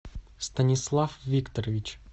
станислав викторович